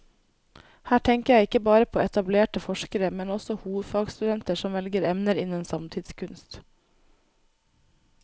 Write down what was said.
Her tenker jeg ikke bare på etablerte forskere, men også hovedfagsstudenter som velger emner innen samtidskunst.